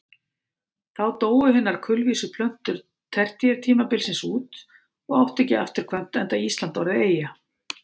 Þá dóu hinar kulvísu plöntur tertíertímabilsins út og áttu ekki afturkvæmt enda Ísland orðið eyja.